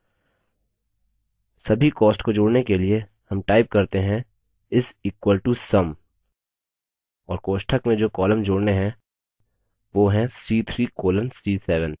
सभी costs को जोड़ने के लिए sum type करते हैं = sum और कोष्ठक में जो columns जोड़ने हैं वो हैं c3 colon c7